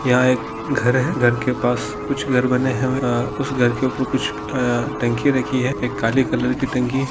यहा एक घर है घर के पास कुछ घर बनने है उस घर के ऊपर कुछ आ टंकी राखी है एक काली कलर की टंकी --